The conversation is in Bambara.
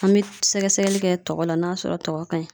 An bɛ sɛgɛsɛgɛli kɛ tɔgɔ la n'a sɔrɔ tɔgɔ ka ɲi.